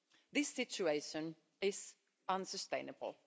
This situation is unsustainable.